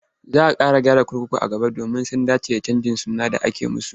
Za a ƙara gyara kurkuku a gaba domin su dace da canjin suna da aka yi musu.